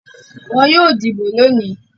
Wọn yóò dìbò lónìí.